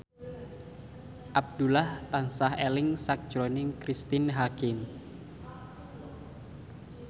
Abdullah tansah eling sakjroning Cristine Hakim